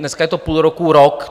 Dneska je to půl roku, rok.